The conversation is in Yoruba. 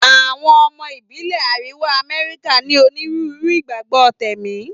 Àwọn ọmọ ìbílẹ̀ Àríwá Amẹ́ríkà ní onírúurú ìgbàgbọ́ tẹ̀mí.